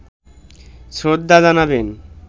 শ্রদ্ধা জানাবেন